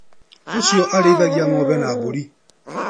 Ũcio arĩithagia ng'ombe na mbũri.